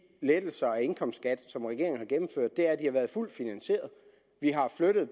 lettelser af indkomstskatten som regeringen har gennemført er at de har været fuldt finansieret vi har